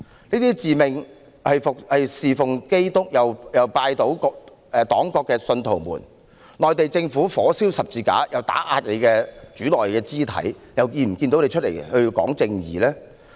這些自命侍奉基督又拜倒黨國的信徒們，內地政府火燒十字架又打壓他們的主內肢體，為何不見他們站出來說要尋求正義呢？